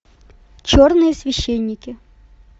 черные священники